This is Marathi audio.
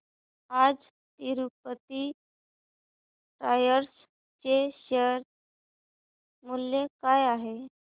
आज तिरूपती टायर्स चे शेअर मूल्य काय आहे